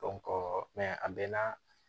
a bɛɛ na